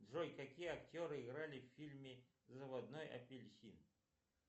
джой какие актеры играли в фильме заводной апельсин